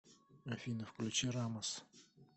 афина включи рамас